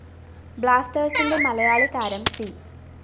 ബ്ലാസ്‌റ്റേഴ്‌സിന്റെ മലയാളി താരം സി